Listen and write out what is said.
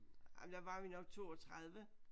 Jamen der var vi nok 32